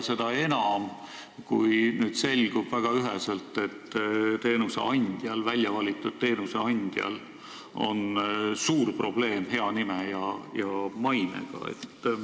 Seda enam, kui nüüd on väga üheselt selgunud, et väljavalitud teenuseosutajal on suur probleem hea nime ja mainega.